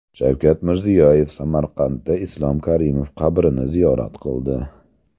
Shavkat Mirziyoyev Samarqandda Islom Karimov qabrini ziyorat qildi .